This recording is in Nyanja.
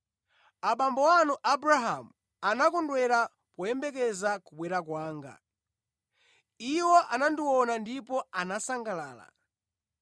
Abambo anu Abrahamu anakondwera poyembekezera kubwera kwanga. Iwo anandiona ndipo anasangalala.”